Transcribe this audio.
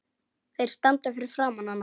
Þeir standa fyrir framan hana.